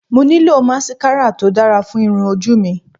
Mo nílò máskárà to dára fún irun ojú mi